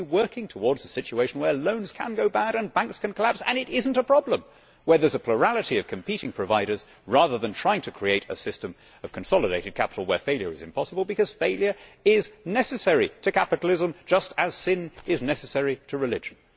We should be working towards a situation where loans can go bad and banks can collapse and it is not a problem, and where there is a plurality of competing providers, rather than trying to create a system of consolidated capital where failure is impossible, because failure is necessary to capitalism, just as sin is necessary to religion.